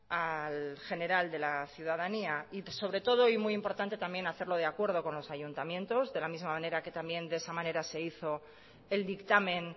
al general de la ciudadanía y sobre todo y muy importante también hacerlo de acuerdo con los ayuntamientos de la misma manera que también de esa manera se hizo el dictamen